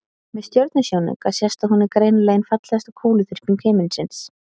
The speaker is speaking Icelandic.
Með stjörnusjónauka sést að hún er greinilega ein fallegasta kúluþyrping himinsins.